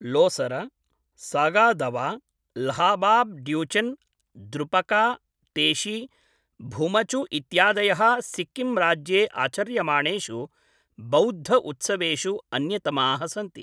लोसर, सागा दवा, ल्हाबाब् ड्यूचेन्, द्रुपका तेशी, भुमचु इत्यादयः सिक्किम् राज्ये आचर्यमाणेषु बौद्ध उत्सवेषु अन्यतमाः सन्ति।